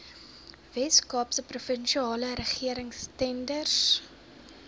weskaapse provinsiale regeringstenders